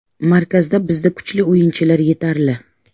Markazda bizda kuchli o‘yinchilar yetarli.